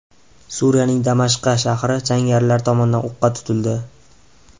Suriyaning Damashqa shahri jangarilar tomonidan o‘qqa tutildi.